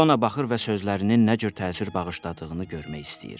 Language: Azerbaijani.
İona baxır və sözlərinin nə cür təsir bağışladığını görmək istəyir.